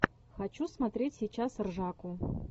хочу смотреть сейчас ржаку